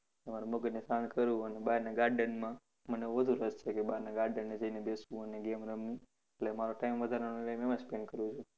હું મારા મગજને તાણ કરું અને બારનાં garden માં મને વધુ રસ છે કે બારનાં garden એ જઈને બેસવું અને game રમવી. એટલે મારો time વધારાનો time હું એમાં જ spend કરું છું.